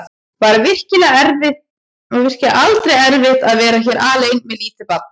Var virkilega aldrei erfitt að vera hér alein með lítið barn?